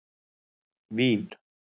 Vín